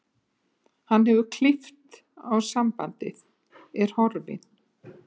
Hann hefur klippt á sambandið, er horfinn.